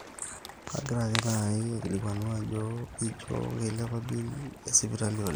kagira ake naaji aikilikuanu ajo ijo keilepa bill esipitali oleng